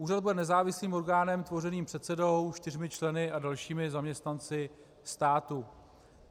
Úřad bude nezávislým orgánem tvořeným předsedou, čtyřmi členy a dalšími zaměstnanci státu.